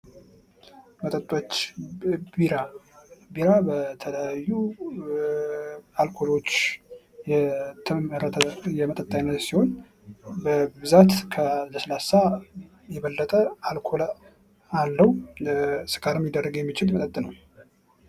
መጠጦች ቢራ ቢራ በተለያዩ አልኮሎች የተመረተ የመጠጥ አይነት ሲሆን በብዛት ከለስላሳ የበለጠ አልኮል አለው። ለስካር የሚዳርግ የሚችል መጠጥ ነው።